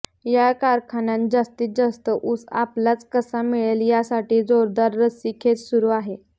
या कारखान्यांत जास्तीत जास्त ऊस आपल्यालाच कसा मिळेल यासाठी जोरदार रस्सीखेच सुरु आहे